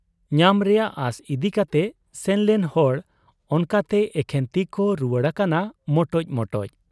ᱧᱟᱢ ᱨᱮᱭᱟᱜ ᱟᱸᱥ ᱤᱫᱤ ᱠᱟᱛᱮ ᱥᱮᱱᱞᱮᱱ ᱦᱚᱲ ᱚᱱᱠᱟᱛᱮ ᱮᱠᱷᱮᱱ ᱛᱤᱠᱚ ᱨᱩᱣᱟᱹᱲ ᱟᱠᱟᱱᱟ ᱢᱚᱴᱚᱡ ᱢᱚᱴᱚᱡ ᱾